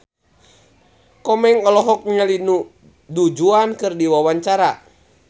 Komeng olohok ningali Du Juan keur diwawancara